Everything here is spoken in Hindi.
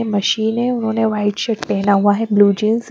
मशीन है उन्होंने वाइट शर्ट पहना हुआ है ब्लू जींस --